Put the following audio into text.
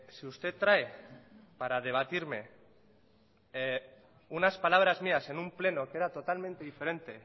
si usted trae para debatirme unas palabras mías en un pleno que era totalmente diferente